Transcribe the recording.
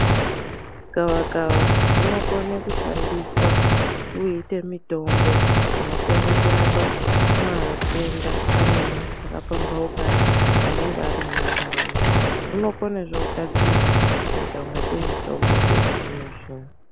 Gavakava rinokona kushandiswa kuita mitombo unokona kurape matenda amweni akapambaukana anenge ari mumandaraunda. Rinokonezve kugadzirwa kuitangati mitombo yechizvino zvino.